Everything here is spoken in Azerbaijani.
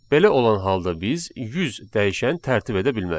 Belə olan halda biz 100 dəyişən tərtib edə bilmərik.